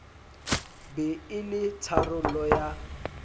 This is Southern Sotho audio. be e le tharollo ya